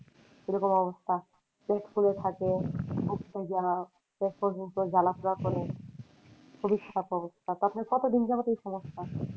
সেরকম অবস্থা কতদিন যাবদ এই সমস্যা?